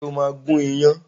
Ṣé o máa gún iyán